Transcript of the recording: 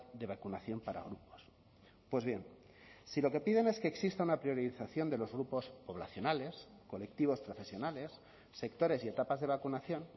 de vacunación para grupos pues bien si lo que piden es que exista una priorización de los grupos poblacionales colectivos profesionales sectores y etapas de vacunación